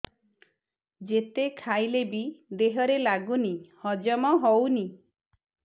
ଯେତେ ଖାଇଲେ ବି ଦେହରେ ଲାଗୁନି ହଜମ ହଉନି